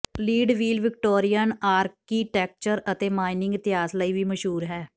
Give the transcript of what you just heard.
Leadville Victorian architecture ਅਤੇ mining ਇਤਿਹਾਸ ਲਈ ਵੀ ਮਸ਼ਹੂਰ ਹੈ